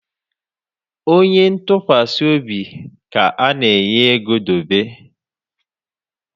Onye ntụkwasị obi ka a na-enye ego debe